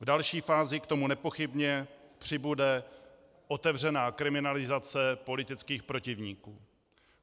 V další fázi k tomu nepochybně přibude otevřená kriminalizace politických protivníků.